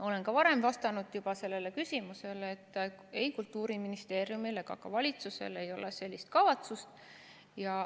Olen ka varem juba vastanud sellele küsimusele ja öelnud, et ei Kultuuriministeeriumil ega ka valitsusel ei ole sellist kavatsust.